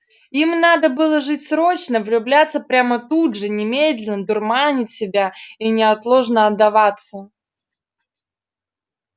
им надо было жить срочно влюбляться прямо тут же немедленно дурманить себя и неотложно отдаваться